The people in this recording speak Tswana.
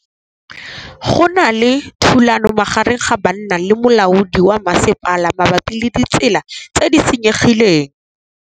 Go na le thulanô magareng ga banna le molaodi wa masepala mabapi le ditsela tse di senyegileng.